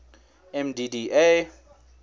mdda